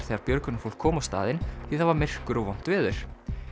þegar björgunarfólk kom á staðinn því það var myrkur og vont veður